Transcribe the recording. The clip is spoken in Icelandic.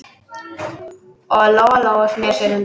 Og Lóa-Lóa sneri sér undan.